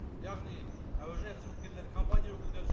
яғни әуежай қызметкерлері компания өкілдері